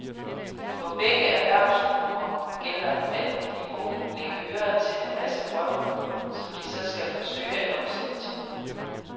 For begge erhvervsgrupper gælder, at de må lægge øre til en masse vrøvl, som de så skal forsøge at omsætte til guld.